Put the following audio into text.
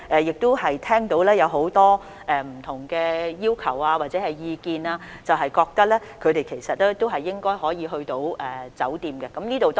然而，我們聽到很多不同的要求或意見，覺得這些抵港人士應該可以入住酒店。